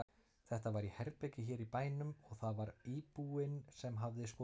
Þetta var í herbergi hér í bænum og það var íbúinn sem hafði skoðunina.